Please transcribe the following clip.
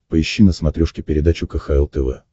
поищи на смотрешке передачу кхл тв